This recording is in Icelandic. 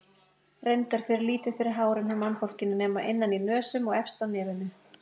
Reyndar fer lítið fyrir hárum hjá mannfólkinu nema innan í nösum og efst á nefinu.